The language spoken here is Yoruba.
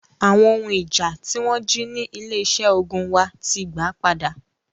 Awon ohun ija ti won ji ni ile ise ogun wa ti gba pada.